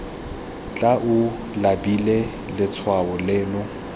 tla o labile letshwao leno